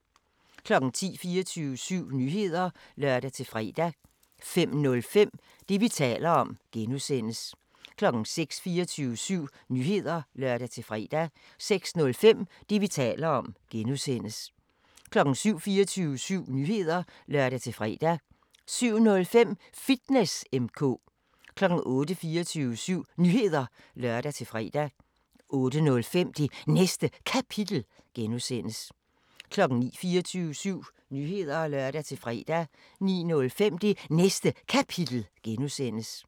05:00: 24syv Nyheder (lør-fre) 05:05: Det, vi taler om (G) 06:00: 24syv Nyheder (lør-fre) 06:05: Det, vi taler om (G) 07:00: 24syv Nyheder (lør-fre) 07:05: Fitness M/K 08:00: 24syv Nyheder (lør-fre) 08:05: Det Næste Kapitel (G) 09:00: 24syv Nyheder (lør-fre) 09:05: Det Næste Kapitel (G)